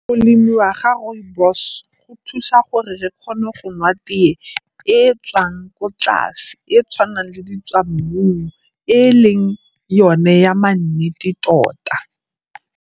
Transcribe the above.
Go lemiwa ga rooibos go thusa gore re kgone go nwa tee e e tswang ko tlase, e e tshwanang le di tswa mmung, e e leng yone ya ma nnete tota.